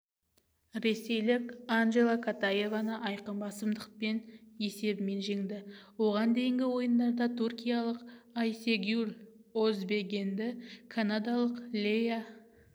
ресейлік анжела катаеваны айқын басымдылықпен есебімен жеңді оған дейінгі ойындарда түркиялық айсегюль озбегені канадалық леа